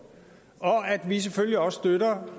og at vi selvfølgelig også støtter